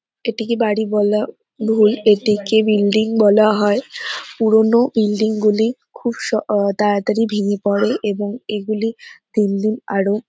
এটিকে বাড়ি বলা ভুল এটিকে বিল্ডিং বলা হয় পুরনো বিল্ডিং -গুলি খুব স অহ তাড়াতাড়ি ভেঙে পড়ে এবং এগুলি দিনদিন আরও--